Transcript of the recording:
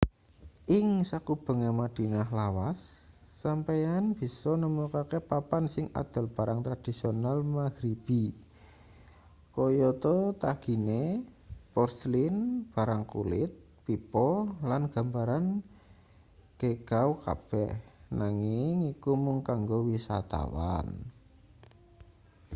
ing sakubenge madinah lawas sampeyan bisa nemokake papan sing adol barang tradisional maghribi kayata tagine porselin barang kulit pipa lan gambaran geegaw kabeh nanging iku mung kanggo wisatawan